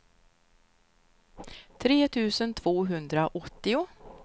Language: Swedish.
tre tusen tvåhundraåttio